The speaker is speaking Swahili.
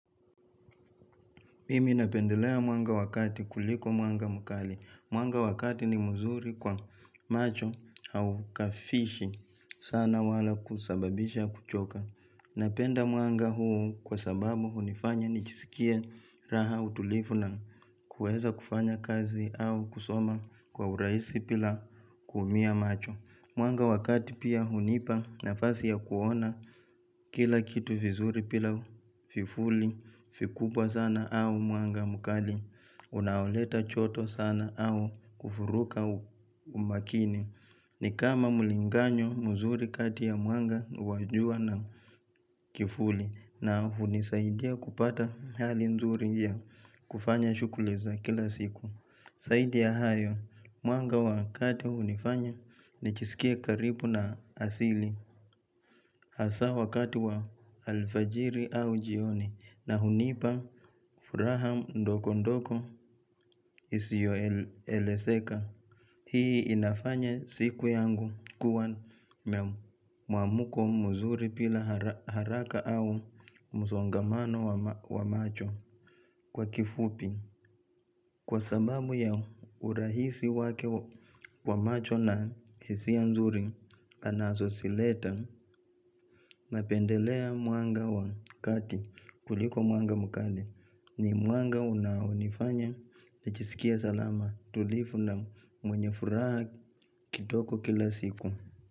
Mimi napendelea mwanga wa kati kuliko mwanga mkali. Mwanga wa kati ni mzuri kwa macho au kafishi sana wala kusababisha kuchoka. Napenda mwanga huu kwa sababu hunifanya nijisikie raha, utulivu na kuweza kufanya kazi au kusoma kwa urahisi bila kuumia macho. Mwanga wa kati pia hunipa nafasi ya kuona kila kitu vizuri bila vifuli vikubwa sana au mwanga mkali unaoleta joto sana au kuvuruga umakini ni kama mlinganyo mzuri kati ya mwanga wa jua na kivuli na hunisaidia kupata hali nzuri ya kufanya shughuli za kila siku Zaidi ya hayo mwanga wa kati hunifanya nijiskie karibu na asili hasa wakati wa alfajiri au jioni na hunipa furaha ndogo ndogo isiyoelezeka. Hii inafanya siku yangu kuwa na mwamko mzuri bila haraka au msongamano wa macho. Kwa kifupi Kwa sababu ya urahisi wake wa macho na hisia mzuri anazozileta, napendelea mwanga wa kati kuliko mwanga mkali, ni mwanga unaonifanya nijiskie salama, tulivu na mwenye furaha kidogo kila siku.